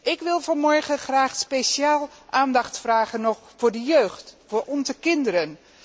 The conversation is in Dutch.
Ik wil vanmorgen graag nog speciaal aandacht vragen voor de jeugd, voor onze kinderen.